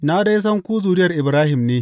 Na dai san ku zuriyar Ibrahim ne.